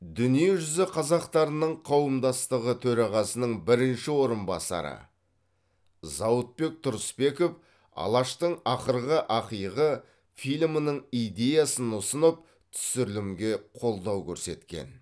дүниежүзі қазақтарының қауымдастығы төрағасының бірінші орынбасары зауытбек тұрысбеков алаштың ақырғы ақиығы фильмінің идеясын ұсынып түсірілімге қолдау көрсеткен